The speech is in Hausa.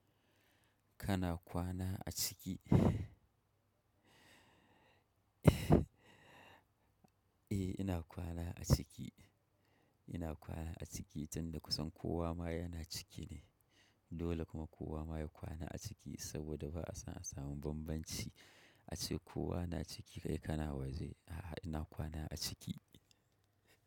Kana kwana a ciki? Eh ina kwana a ciki, ina kwana a ciki tunda kusan kowa ma yana ciki ne. Dole kuma kowa ma ya kwana a ciki saboda ba'a isa a samu bambanci ace kowa na ciki kai kana waje. A'a ina kwana a ciki.